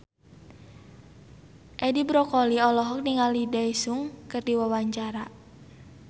Edi Brokoli olohok ningali Daesung keur diwawancara